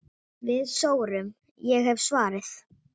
Við sórum, ég hef svarið.